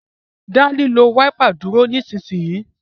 da lilo Wáípà dúró nísìsiyìí!